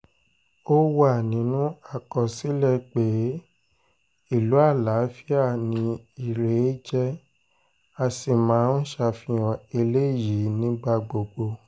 ó wà nínú àkọsílẹ̀ pé ìlú àlàáfíà ni irèé jẹ́ a sì máa ń ṣàfihàn eléyìí nígbà gbogbo